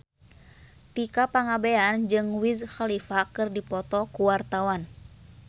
Tika Pangabean jeung Wiz Khalifa keur dipoto ku wartawan